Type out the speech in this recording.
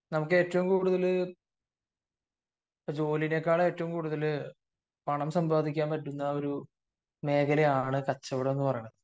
നമുക്ക് ഏറ്റവും കൂടുതൽ ജോലിയെക്കാളും ഏറ്റവും കൂടുതൽ പണം സമ്പാദിക്കാൻ പറ്റുന്ന ഒരു മേഖലയാണ് കച്ചവടം എന്ന് പറയുന്നത്